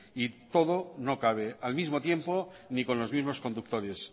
y todo no cabe al mismo tiempo ni con los mismos conductores